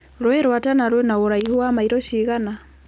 rũĩ rwa tana rwĩ na ũraihu wa maĩro cigana